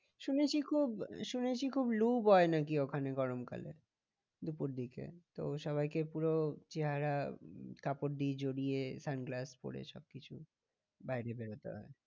শুনেছি খুন শুনেছি খুব বয়ে নাকি ওখানে গরম কালে দুপুর দিকে তো সবাইকে পুরো চেহারা উম কাপড় দিয়ে জড়িয়ে sunglass পরে সব কিছু বাইরে বেরোতে হয়।